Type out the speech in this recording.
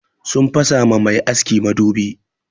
Sun fasa ma mai aski madubi.